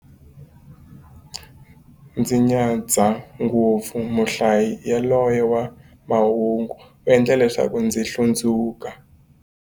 Ndzi nyadza ngopfu muhlayi yaloye wa mahungu, u endla leswaku ndzi hlundzuka.